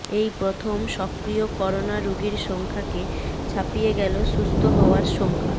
এই প্রথম সক্রিয় করোনা রোগীর সংখ্যাকে ছাপিয়ে গেল সুস্থ হওয়ার সংখ্যা